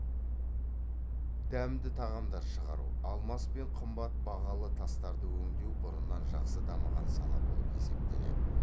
дәмді тағамдар шығару алмас пен қымбат бағалы тастарды өңдеу бұрыннан жақсы дамыған сала болып есептеледі